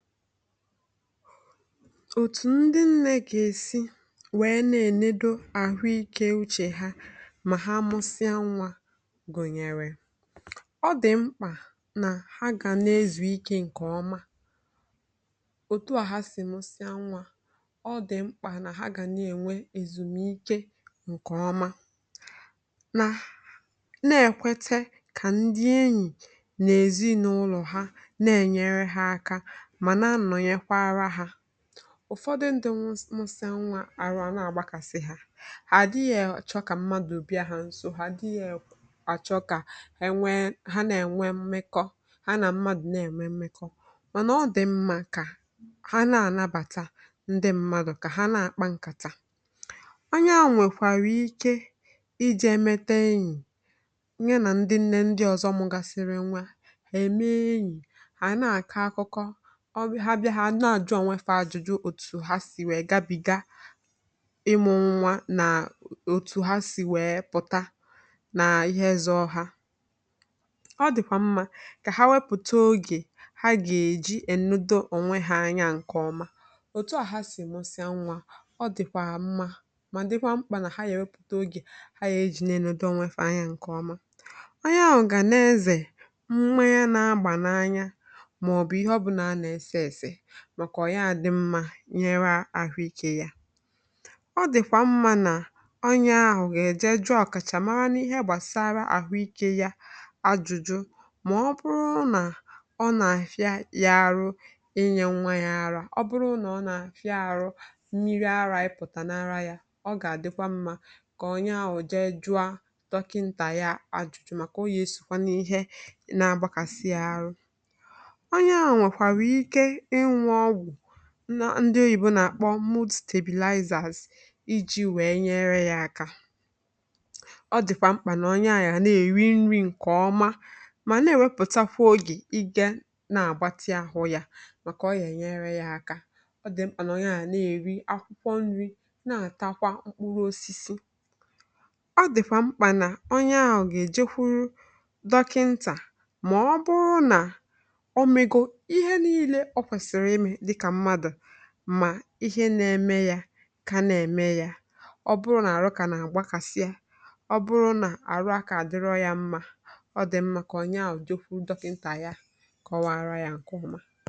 Otu ndị nne ga-esi were na-elekọta ahụ ike na uche ha mgbe ha mụsịrị nwa Mgbe nwaanyị mụsịrị nwa, ọ dị mkpa na ọ ga na-ezụ ike nke ọma. Ọ dịkwa mkpa ka ndị enyi na ezinụlọ ya na-enyere ya aka. Ụfọdụ ndị na-amụsị nwa anaghị agba mbọ ije, na-achọghị ka mmadụ bịaruo ha nso, maọbụ na-enwe mmekọrịta mmadụ na ibe ya. Ma, ọ dị mma ka ha nabata ndị mmadụ, kpa nkata, na-enye aka. Onye nwekwara ike ịga emeta enyi, nyere ndị enyi na ndị ọzọ mụsịrị nwa aka. Ọ dịkwa mkpa ka ha si n’ịmụ nwa pụta n’ime onwe ha, ma hụkwa na ha na-enye onwe ha ezumike zuru oke. Ọ dị mma, ma dịkwa mkpa ka ha were oge zuru ike, lezie onwe ha anya nke ọma, n'ụzọ metụtara ahụ na uche ha. Mgbe a mụsịrị nwa, ọ dịkwa mma ma dịkwa mkpa ka nwaanyị were oge nweta ezumike onwe ya. Ọ bụrụ na onye ahụ nwere ihe na-agba ya n’anya maọbụ na ahụ ike ya adịghị mma, ọ kwesịrị ịga juo ndị ọkachamara n’ihe gbasara ahụ ike ajụjụ. Ọ bụrụ na ọ na-achọ ịmara ma o kwesịrị inye nwa ya ara, maọbụ ma mmiri ara apụtaghị n’ara ya, ọ ga-adị mma ka ọ jụọ dọkịnta. Ma ọ bụrụ na ahụ ya na-agbakasị maọbụ na ọ naghị ahụ mma, ọ dịkwa mma ka ọ gwa dọkịnta ya, ka e nwee ike inye ya enyemaka. Ọ bụrụ na e nyere ya ọgwụ ndị a na-akpọ "maternity tablets" maọbụ ihe ndị ọzọ, ọ dị mkpa ka ọ rie nri dị mma, were oge gbaa ahụ ya ume, rie akwụkwọ nri, rie mkpụrụ osisi, ma kpọrọ dọkịnta ya ma ọ bụrụ na ihe na-eme ya dị iche maọbụ na ahụ ya adịghịkwa ya mma. Ọ bụrụ na ọrụ ya na-agbakasị ya, maọbụ na ike adịghị ya, ọ dị mma ka ọ gwa dọkịnta ya ka o wee mara ihe dị na-eme ya, ma nweta enyemaka kwesịrị ekwesị.